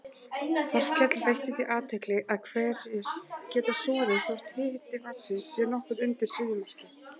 Þorkell veitti því athygli að hverir geta soðið þótt hiti vatnsins sé nokkuð undir suðumarki.